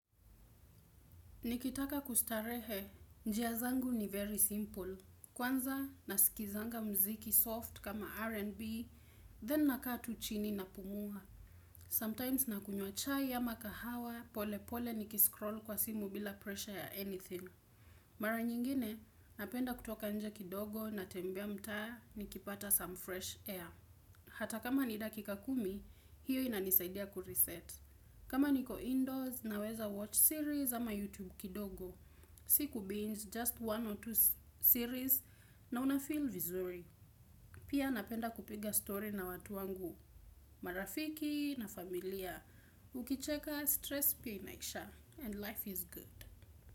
Nikitaka kustarehe, njia zangu ni very simple. Kwanza, nasikilizanga mziki soft kama RNB then nakaa tu chini napumua. Sometimes nakunywa chai ya ama kahawa, polepole nikiscroll kwa simu bila pressure ya anything. Mara nyingine, napenda kutoka nje kidogo natembea mtaa nikipata some fresh air. Hata kama ni dakika kumi, hiyo inanisaidia kureset. Kama niko indoors naweza watch series ama YouTube kidogo. Siko busy just one or two series na unafeel vizuri. Pia napenda kupiga story na watu wangu, marafiki na familia. Ukicheka stress pia inaisha and life is good.